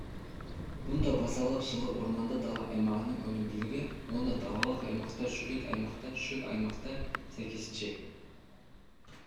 мұнда базалық жылы орманды дала аймағының өнімділігі онда далалық аймақта шөлейт аймақта шөл аймақта сәйкесінше